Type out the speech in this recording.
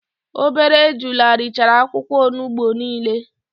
Obere ejula richara akwukwo onugbu nile